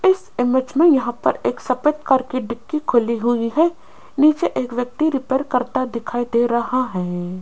इस इमेज में यहाँ पर एक सफेद कार की डिकी खुली हुई है नीचे एक व्यक्ति रिपेयर करता दिखाई दे रहा है।